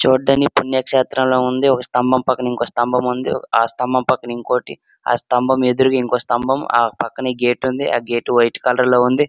చూడ్డానికి పుణ్యక్షేత్రం లా ఉంది. ఒక స్థంభం పక్కన ఇంకో స్థంభం ఉంది. ఓ-ఆ స్థంభం పక్కన ఇంకోటి ఆ స్థంభం ఎదురుగా ఇంకో స్థంభం ఆ పక్కనే గేటుంది . ఆ గేటు వైట్ కలర్ లో ఉంది.